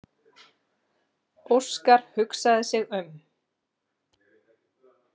Óskar hugsaði sig um.